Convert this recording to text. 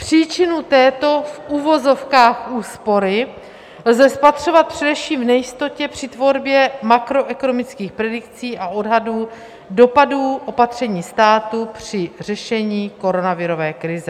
Příčinu této v uvozovkách úspory lze spatřovat především v nejistotě při tvorbě makroekonomických predikcí a odhadů dopadů opatření státu při řešení koronavirové krize.